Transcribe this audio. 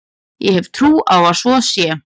Ég hef trú á að svo sé.